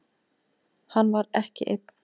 Hann var ekki einn.